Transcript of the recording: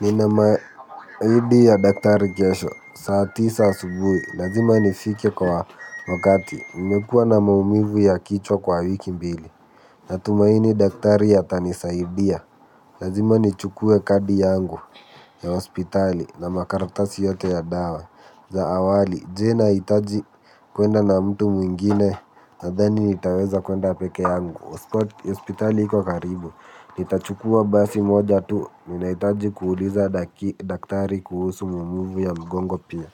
Nina miadi ya daktari kesho saa tisa subuhi lazima nifike kwa wakati nimekua na maumivu ya kichwa kwa wiki mbili. Natumaini daktari atani saidia lazima nichukue kadi yangu ya hospitali. Na makaratasi yote ya dawa awali je nahitaji kwenda na mtu mwingine. Nadhani nitaweza kwenda peke yangu. Hospitali iko karibu. Nitachukua basi moja tu ninahitaji kuuliza daktari kuhusu maumivu ya mgongo pia.